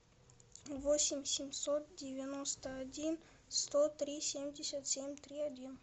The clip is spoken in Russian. восемь семьсот девяносто один сто три семьдесят семь три один